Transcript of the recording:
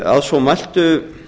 að svo mæltu